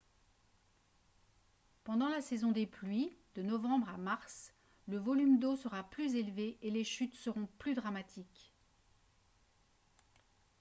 pendant la saison des pluies de novembre à mars le volume d'eau sera plus élevé et les chutes seront plus dramatiques